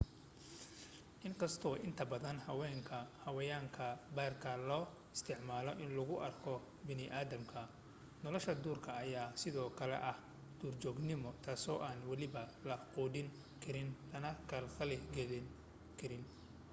inkastoo inta badan xayawaanka baarka loo isticmaalo in lagu arko bani aadamka nolshaduurka ayaa sido kale ah duurjoognimo taasi oo aan weliba la quudin karin lana khalkhal galin karin